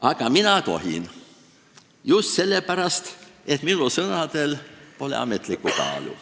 Aga mina tohin, just sellepärast, et minu sõnadel pole ametlikku kaalu.